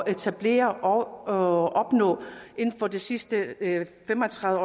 etablere og opnå inden for de sidste fem og tredive